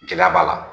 Gɛlɛya b'a la